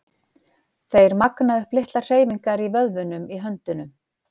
Þeir magna upp litlar hreyfingar í vöðvunum í höndunum.